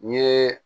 N ye